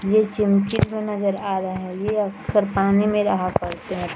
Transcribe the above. ये चमकी जैसा नजर आ रहा है ये अक्सर पानी मे रहा करते हैं।